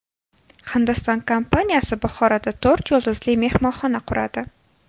Hindiston kompaniyasi Buxoroda to‘rt yulduzli mehmonxona quradi.